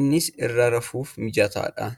Innis irra rafuuf mijataadha.